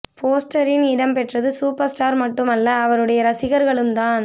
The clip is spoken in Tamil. போஸ்டரின் இடம்பெற்றது சூப்பர் ஸ்டார் மட்டும் அல்ல அவருடைய ரசிகர்களும் தான்